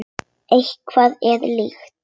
Efnið er líkt.